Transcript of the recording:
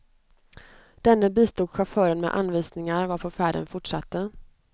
Denne bistod chauffören med anvisningar, varpå färden fortsatte.